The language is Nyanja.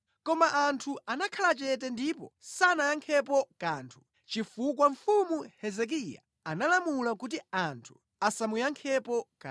Koma anthu anakhala chete ndipo sanayankhepo kanthu, chifukwa mfumu inawalamula kuti, “Musayankhe.”